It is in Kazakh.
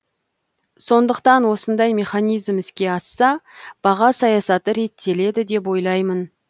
сондықтан осындай механизм іске асса баға саясаты реттеледі деп ойлаймын